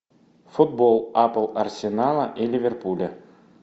футбол апл арсенала и ливерпуля